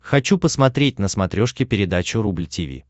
хочу посмотреть на смотрешке передачу рубль ти ви